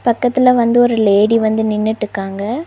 பக்கத்துல வந்து ஒரு லேடி வந்து நின்னுட்டுக்காங்க.